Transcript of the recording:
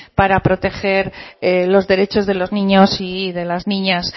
para proteger los derechos de los niños y de las niñas